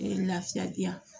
lafiya diyan